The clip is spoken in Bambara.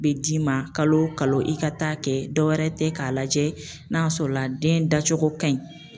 Be d'i ma kalo kalo i ka taa kɛ, dɔwɛrɛ tɛ k'a lajɛ n'a y'a sɔrɔla den dacogo kaɲi